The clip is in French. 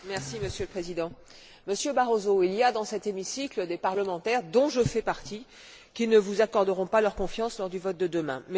Monsieur le Président, Monsieur Barroso, il y a dans cet hémicycle des parlementaires, dont je fais partie, qui ne vous accorderont pas leur confiance lors du vote de demain.